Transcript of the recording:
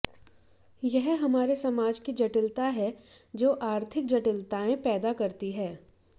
यह हमारे समाज की जटिलता है जो आर्थिक जटिलताएं पैदा करती है